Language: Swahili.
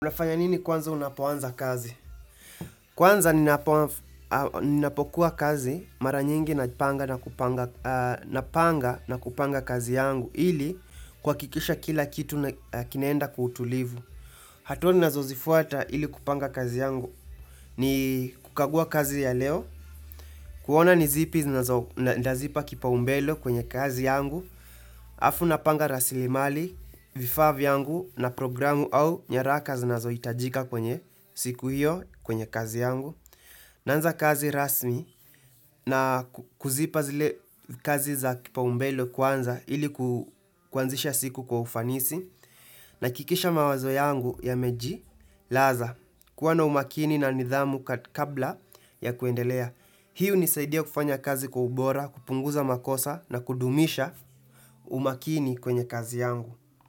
Unafanya nini kwanza unapoanza kazi? Kwanza ninapokuwa kazi mara nyingi napanga na kupanga kazi yangu. Ili kuhakikisha kila kitu kinaenda kwa utulivu. Hatua ninazozifuata ili kupanga kazi yangu. Ni kukagua kazi ya leo. Kuona ni zipi nitazipa kipaumbele kwenye kazi yangu. Alafu napanga rasilimali, vifaa vyangu na programu au nyaraka zinazohitajika kwenye siku hiyo kwenye kazi yangu. Naanza kazi rasmi na kuzipa zile kazi za kipaumbele kwanza ili kuanzisha siku kwa ufanisi. Nahakikisha mawazo yangu yamejilaza. Kuwa na umakini na nidhamu kabla ya kuendelea. Hii hunisaidia kufanya kazi kwa ubora, kupunguza makosa na kudumisha umakini kwenye kazi yangu.